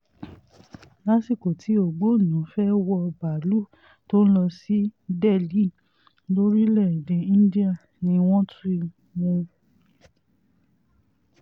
lásìkò tí ògbónná fẹ́ẹ́ wọ báálùú tó ń lọ sí delhi lórílẹ̀-èdè íńdíà ni wọ́n ti mú un